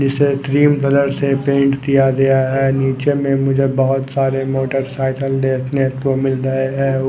इसे cream colour से paint किया गया है निचे में मुझे बोहोत सारे मोटर सायकल देखने को मिल रहे है उ --